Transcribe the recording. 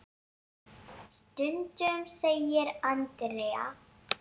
Stundum segir Andrea.